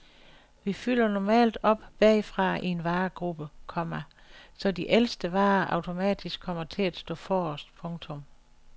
Vi fylder normalt op bagfra i en varegruppe, komma så de ældste varer automatisk kommer til at stå forrest. punktum